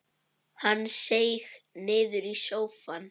Hann seig niður í sófann.